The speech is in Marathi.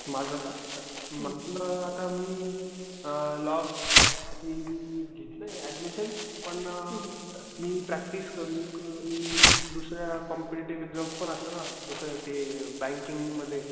माझं का मला आता मी अ लॉ साठी घेतलाय अड्डमिशन, पण मी प्रॅक्टिस करून करून दुसऱ्या कॉम्पेटेटिव्ह एक्साम्स पण असतात ना जस कि बँकिंग मधे.